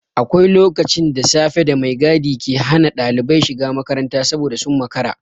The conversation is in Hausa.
Akwai lokaci da safe da mai gadi ke hana ɗalibai shiga makaranta saboda sun makara.